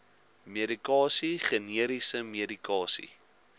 medikasie generiese medikasie